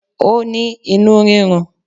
Ó ní inú rírun